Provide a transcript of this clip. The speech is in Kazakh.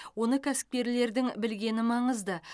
оны кәсіпкерлердің білгені маңызды